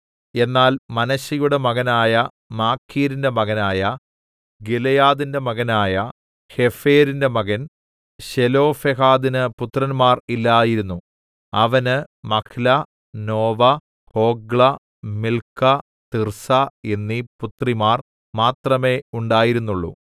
എന്നാൽ മനശ്ശെയുടെ മകനായ മാഖീരിന്റെ മകനായ ഗിലെയാദിന്റെ മകനായ ഹേഫെരിന്റെ മകൻ ശെലോഫെഹാദിന് പുത്രന്മാർ ഇല്ലായിരുന്നു അവന് Mahlah Noah Hoglah Milcah Tirzah എന്നീ പുത്രിമാർ മാത്രമേ ഉണ്ടായിരുന്നുള്ളു